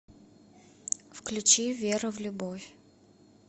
включи вера в любовь